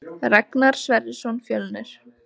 Ragnar Sverrisson Fjölnir